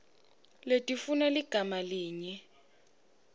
letifuna ligama linye